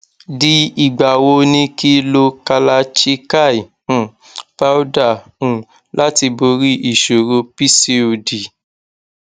di igba wo ni ki lo kalachikai um powder um lati bori isoro pcod